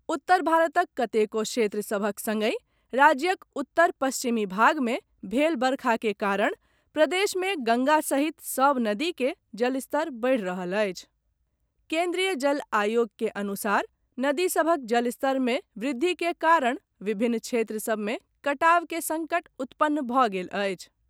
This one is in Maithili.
उत्तर भारतक कतेको क्षेत्र सभक सङ्गहि राज्यक उत्तर पश्चिमी भाग मे भेल वर्षा के कारण प्रदेश मे गंगा सहित सब नदीक जलस्तर बढ़ि रहल अछि केन्द्रीय जल आयोगक अनुसार नदी सभक जलस्तरमे वृद्धि के कारण विभिन्न क्षेत्र सबमे कटावक सङ्कट उत्पन्न भऽ गेल अछि।